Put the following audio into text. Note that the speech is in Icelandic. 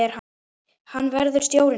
Hver verður stjórinn þinn?